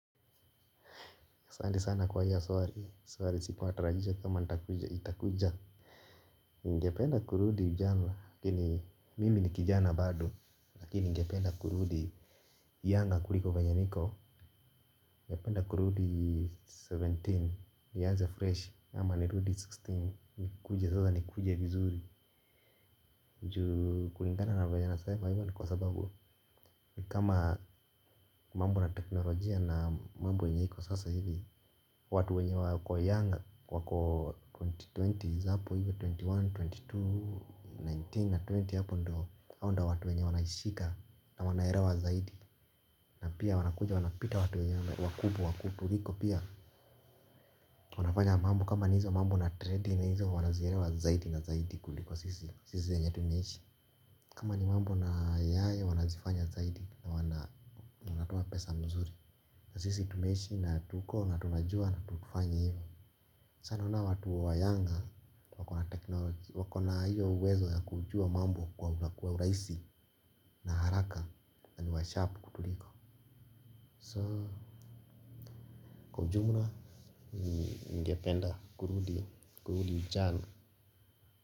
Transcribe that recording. Asante sana kwa hiyo swari. Swari sikuwa natarajia kama itakuja. Ningependa kurudi ujana lakini mimi ni kijana bado lakini ningependa kurudi Younger kuliko venye niko ningependa kurudi kumi na saba. Nianze fresh ama nirudi kumi na sita. Nikuje sasa nikuje vizuri. Ju kulingana na venye anasema hivyo ni kwa sababu kama mambo na teknolojia na mambo yenye iko sasa hivi watu wenye wako younger wako 20,20s hapo hivyo ishirini na moja, ishirini na mbili, kumi na tisa na ishirini hapo ndo watu wenye wanashika na wanaerewa zaidi. Na pia wanakuja wanapita watu wenye wakubwa kutuliko pia. Unafanya mambo kama ni hizo mambo na trading na nizo wanazierewa zaidi na zaidi kuliko sisi. Sisi wenye tunaishi kama ni mambo na yae wanazifanya zaidi na wanatoa pesa mzuri. Na sisi tumeishi na tuko na tunajua na tukifanya hivyo. Sana unaona watu younger wako na teknology. Wakona hiyo uwezo ya kujua mambo kwa urahisi na haraka na ni washarp kutuliko So kwa ujumla ningependa kurudi kurudi ujana.